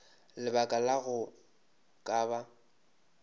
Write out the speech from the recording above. lebaka la go ka ba